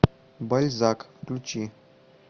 бальзак включи